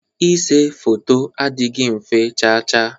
Ise foto adịghị mfe chaa chaa.